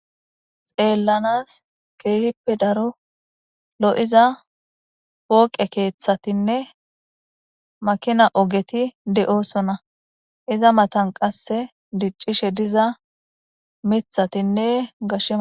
Xeelanas keehippe lo7iza pooqe keeththatinne maakinna ogeti de7oosona. Eza matan qasse diccishe diza miththatinne gashe ..